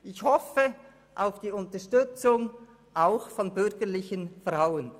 Ich hoffe auf Ihre Unterstützung, auch von bürgerlichen Frauen.